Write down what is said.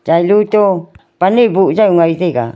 chailo to pan e boh jaw ngai taiga.